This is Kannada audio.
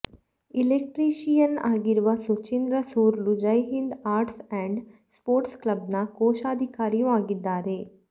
ಇಲೆಕ್ಟ್ರೀಶಿ ಯನ್ ಆಗಿರುವ Suchindra Surlu Jaihind arts and sports ಕ್ಲಬ್ನ ಕೋಶಾಧಿಕಾರಿಯೂ ಆಗಿದ್ದಾರೆ